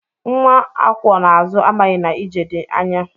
Nwa akwọ n'azụ amaghị na ije dị anya.